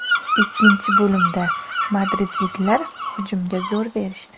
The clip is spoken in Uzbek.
Ikkinchi bo‘limda madridliklar hujumga zo‘r berishdi.